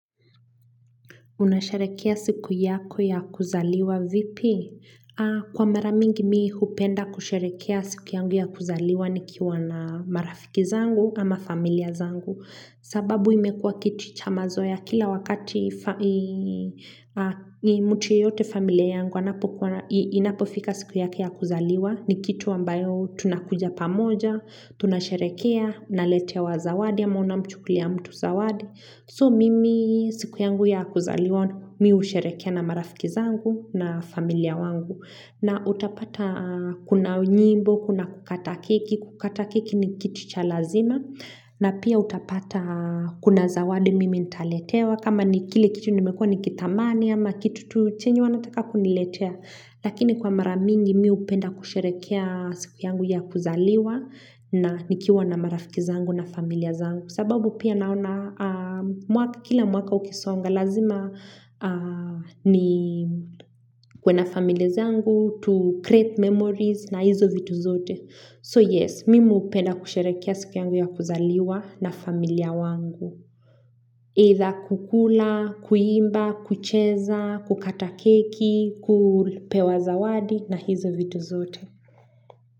Unasharehekea siku yako ya kuzaliwa vipi? Kwa maramingi mi hupenda kusharehekea siku yangu ya kuzaliwa nikiwa na marafiki zangu ama familia zangu. Sababu imekuwa kitu chamazoea kila wakati mtu yoyote familia yangu inapofika siku yake ya kuzaliwa ni kitu ambayo tunakuja pamoja, tunasharehekea, naletewa zawadi ama unamchukulia mtu zawadi. So mimi siku yangu ya kuzaliwa mi husherehekea na marafiki zangu na familia wangu. Na utapata kuna unyimbo, kuna kukata keki, kukata keki ni kitu cha lazima. Na pia utapata kuna zawadi mimi ntaletewa. Kama ni kile kitu nimekua ni kitamani ama kitu tu chenye wanataka kuniletea. Lakini kwa maramingi mi hupenda kusherehekea siku yangu ya kuzaliwa na nikiwa na marafiki zangu na familia zangu. Kwa sababu pia naona kila mwaka ukisonga lazima nikuwe na families zangu to create memories na hizo vitu zote. So yes, mimi upenda kusherekea siku yangu ya kuzaliwa na familia wangu. Either kukula, kuimba, kucheza, kukata keki, kuupewa zawadi na hizo vitu zote.